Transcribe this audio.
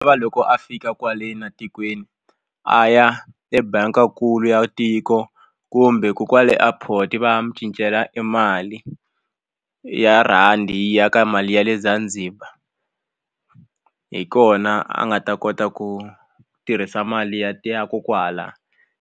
va loko a fika kwale na tikweni a ya ebangi leyikulu ya tiko kumbe ko kwale airport va ya mu cincela e mali ya rhandi yi ya ka mali ya le Zanzibar hi kona a nga ta kota ku tirhisa mali ya ya ko kwahala.